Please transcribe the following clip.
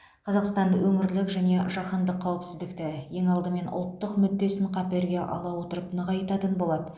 қазақстан өңірлік және жаһандық қауіпсіздікті ең алдымен ұлттық мүддесін қаперге ала отырып нығайтатын болады